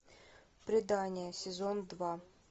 предание сезон два